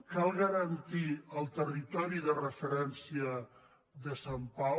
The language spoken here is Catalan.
cal garantir el territori de referència de sant pau